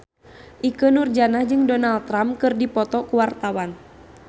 Ikke Nurjanah jeung Donald Trump keur dipoto ku wartawan